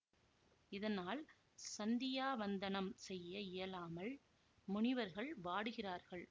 இதனால் சந்தியாவந்தனம் செய்ய இயலாமல் முனிவர்கள் வாடுகிறார்கள்